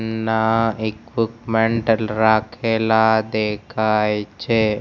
રાખેલા દેખાય છે.